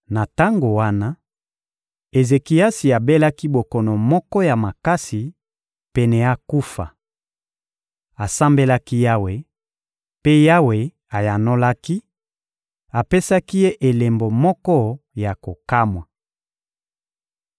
Na tango wana, Ezekiasi abelaki bokono moko ya makasi, pene akufa. Asambelaki Yawe; mpe Yawe ayanolaki, apesaki ye elembo moko ya kokamwa.